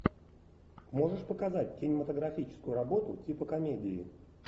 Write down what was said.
можешь показать кинематографическую работу типа комедии